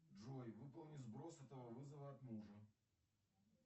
джой выполни сброс этого вызова от мужа